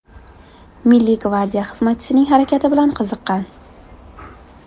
Milliy gvardiya xizmatchisining harakati bilan qiziqqan.